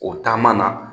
O taama na